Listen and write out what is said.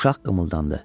Uşaq qımıldandı.